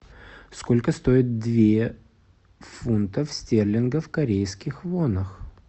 сколько стоит две фунтов стерлингов в корейских вонах